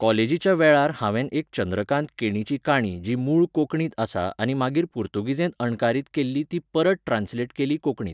काॅलेजीच्या वेळार हांवेन एक चंद्रकांत केणीची काणी जी मूळ कोंकणींत आसा आनी मागीर पुर्तुगीजेंत अणकारीत केल्ली ती परत ट्रानस्लेट केली कोंकणींत.